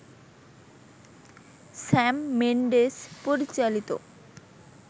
Sam Mendes পরিচালিত